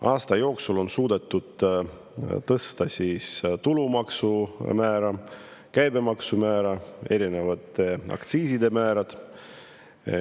Aasta jooksul on suudetud tõsta tulumaksu määra, käibemaksu määra, erinevate aktsiiside määrasid.